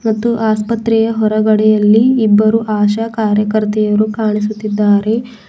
ಒಂದು ಆಸ್ಪತ್ರೆಯ ಹೊರಗಡೆಯಲ್ಲಿ ಇಬ್ಬರು ಆಶಾ ಕಾರ್ಯಕರ್ತೆಯರು ಕಾಣಿಸುತ್ತಿದ್ದಾರೆ.